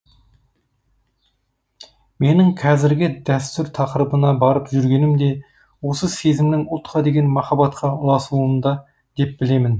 менің қазіргі дәстүр тақырыбына барып жүргенім де осы сезімнің ұлтқа деген махаббатқа ұласуында деп білемін